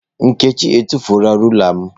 Nkechi etufuola rula m.